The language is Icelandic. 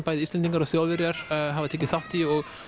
bæði Íslendingar og Þjóðverjar hafa tekið þátt í og